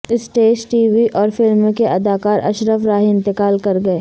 stage TV اور film کے اداکار اشرف راہی انتقال کرگئے